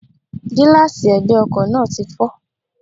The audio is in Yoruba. Gíláàsi ègbè ọkò náà ti fó